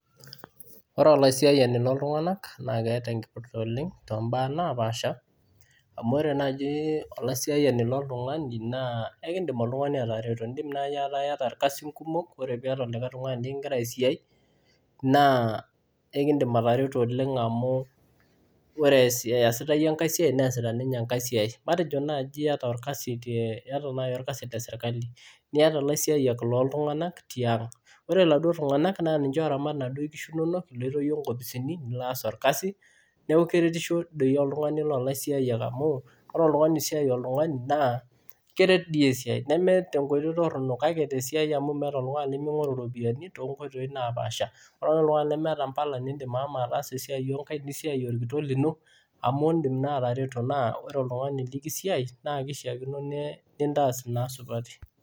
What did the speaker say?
Ore olaisiyaink looltunganak keeta enkipirta oleng too mbaa napaasha, amu ore naaji olaisiyiani loltungani ekidim oltungani atarero. idim naaji ataa iyata ilkasin kumok, ore paa iyata likae tungani likigira aisiai. naa ekidim, atareto oleng, amu ore iyasita iyie enkae siai. neesita ninye enkae siai. matejo naaji iyata olkasinle sirkali ,niata ore iladuoo tunganak naa ninche ooramat inaduoo kishu inonok, nilo iyie nkoposini nilo aas orkasi. neeku keretisho oltungani loolaisiyiak amu, ore oltungani osiai oltungani naa keret sii esiai. neme tenkoitoi torono. meeta oltungani lemingoru ropiyiani too nkoitoi napaasha. ore ake oltungani lemeta mpala naidim ashomo ataasa esiai oo nkaik, nisiai olkitok lino, amu idim naa atareto. naa ore oltungani likisiai naa keishaakino nintaas naa isupati.